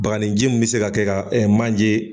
Bagninji mun bɛ se ka kɛ ka manje.